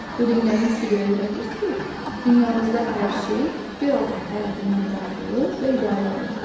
Bu dinlərin üçü də öyrədir ki, dünyamızda hər şey bir Allah tərəfindən yaradılıb və idarə olunur.